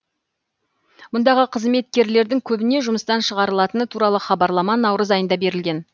мұндағы қызметкерлердің көбіне жұмыстан шығарылатыны туралы хабарлама наурыз айында берілген